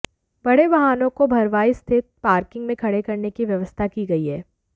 बड़े वाहनों को भरवाईं स्थित पार्किंग में खडे़ करने की व्यवस्था की गई है